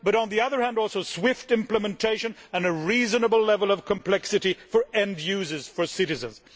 and, on the other hand, swift implementation and a reasonable level of complexity for end users, for citizens.